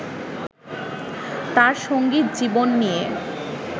তাঁর সঙ্গীত জীবন নিয়ে